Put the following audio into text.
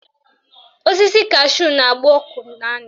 Osisi kashu na-agba ọkụ na ndụ